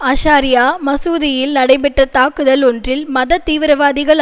அஷாரியா மசூதியில் நடைபெற்ற தாக்குதல் ஒன்றில் மத தீவிரவாதிகள்